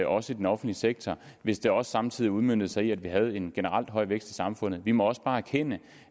også i den offentlige sektor hvis det også samtidig udmøntede sig i at vi havde en generelt høj vækst i samfundet vi må også bare erkende